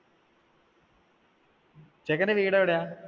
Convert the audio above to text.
ചെക്കന്റെ വീടെവിടെയാ?